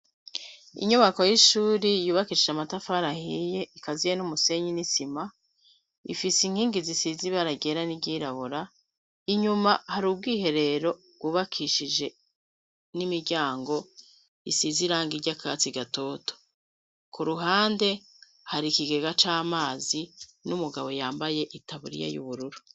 Inyubako y'ishuri yubakishije amatafari, ahiye ikaziye n'umusenyi n'isima, ifise inkingi zisize ibara ryera n'iryirabura; inyuma hari ubwiherero bwubakishije n'imiryango isize irangi ry'akatsi gatoto. Ku ruhande hari ikigega c'amazi n'umugabo yambaye itaburiya y'ubururu.